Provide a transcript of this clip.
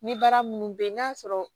Ni baara minnu bɛ yen n'a sɔrɔ